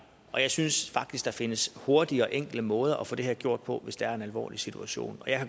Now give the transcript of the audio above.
jeg synes faktisk der findes hurtige og enkle måder at få det her gjort på hvis det er en alvorlig situation